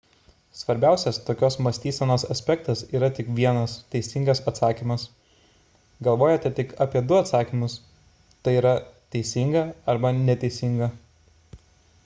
svarbiausias tokios mąstysenos aspektas – yra tik vienas teisingas atsakymas galvojate tik apie du atsakymus t y teisingą arba neteisingą